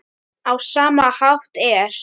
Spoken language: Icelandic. Á sama hátt er